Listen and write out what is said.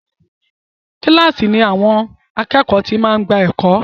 Kílàsì ni àwọn àkẹ́ẹ̀kọ́ ti máa ń gbà ẹ̀kọ́.